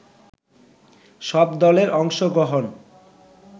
সব দলের অংশগ্রহণ